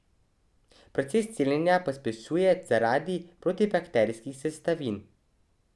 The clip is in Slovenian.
Proces celjenja pospešuje zaradi protibakterijskih sestavin.